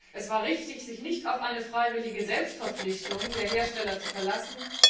Es war richtig, sich nicht auf eine freiwillige Selbstverpflichtung der Hersteller zu verlassen.